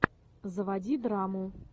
заводи драму